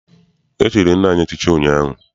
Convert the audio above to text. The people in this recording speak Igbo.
E chiri nna m echichi ụnyaahụ.